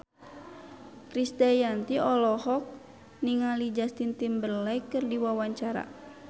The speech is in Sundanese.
Krisdayanti olohok ningali Justin Timberlake keur diwawancara